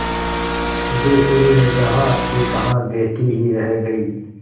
सिद्धेश्वरी जहाँकीतहाँ बैठी ही रह गई